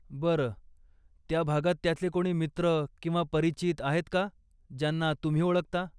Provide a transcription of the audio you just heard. बरं, त्या भागात त्याचे कोणी मित्र किंवा परिचित आहेत का, ज्यांना तुम्ही ओळखता?